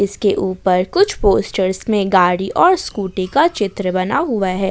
इसके ऊपर कुछ पोस्टर्स में गाड़ी और स्कूटी का चित्र बना हुआ है।